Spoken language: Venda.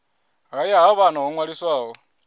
haya ha vhana ho ṅwaliswaho